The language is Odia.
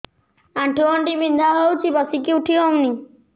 ଆଣ୍ଠୁ ଗଣ୍ଠି ବିନ୍ଧା ହଉଚି ବସିକି ଉଠି ହଉନି